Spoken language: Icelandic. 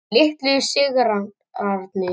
Litlu sigrarnir.